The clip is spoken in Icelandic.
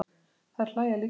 Þær hlæja líka.